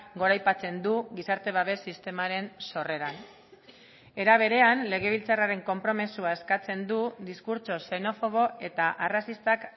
goraipatzen du gizarte babes sistemaren sorreran era berean legebiltzarraren konpromisoa eskatzen du diskurtso xenofobo eta arrazistak